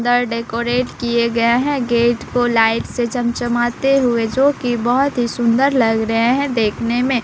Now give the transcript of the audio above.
अंदर डेकोरेट किए गए हैं गेट को लाइट से चमचमाते हुए जोकी बोहोत ही सुंदर लग रहे हैं देखने में।